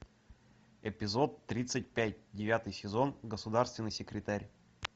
эпизод тридцать пять девятый сезон государственный секретарь